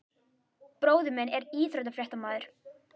Bróðir minn er íþróttafréttamaður.